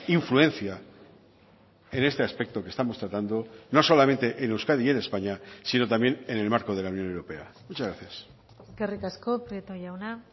influencia en este aspecto que estamos tratando no solamente en euskadi y en españa sino también en el marco de la unión europea muchas gracias eskerrik asko prieto jauna